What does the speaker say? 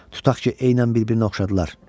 Tutaq ki, eynən bir-birinə oxşadılar.